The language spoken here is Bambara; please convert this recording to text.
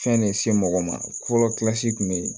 Fɛn de se mɔgɔ ma fɔlɔ kun be yen